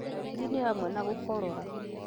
Dariri nĩ hamwe na gũkorora,